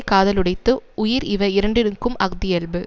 காதலுடைத்து உயிர் இவை இரண்டினுக்கும் அஃதியல்பு